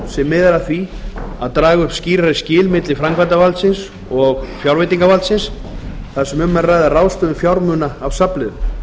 miðar að því að draga upp skýrari skil milli framkvæmdarvaldsins og fjárveitingavaldsins þar sem um er að ræða ráðstöfun fjármuna af safnliðum